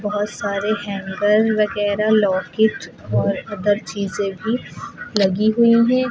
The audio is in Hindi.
बहुत सारे हैंडल वगैरह लॉकेट और अदर चीजें भी लगी हुई हैं।